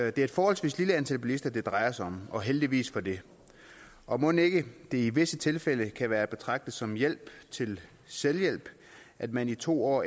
er et forholdsvis lille antal bilister det drejer sig om og heldigvis for det og mon ikke det i visse tilfælde kan være at betragte som hjælp til selvhjælp at man i to år